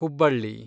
Hubballi